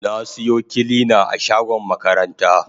Na siyo kilina a shagon makaranta.